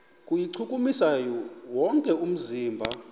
kuwuchukumisa wonke umzimba